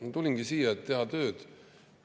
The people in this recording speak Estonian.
Ma tulingi siia, et teha tööd.